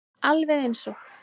Alveg eins og